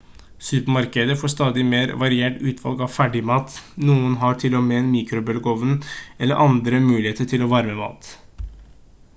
supermarkeder får stadig mer variert utvalg av ferdigmat noen har til og med en mikrobølgeovn eller andre muligheter til å varme mat